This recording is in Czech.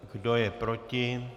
Kdo je proti?